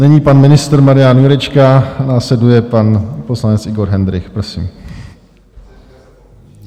Nyní pan ministr Marian Jurečka, následuje pan poslanec Igor Hendrych, prosím.